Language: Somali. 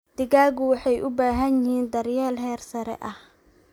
Digaagga waxay u baahan yihiin daryeel heer sare ah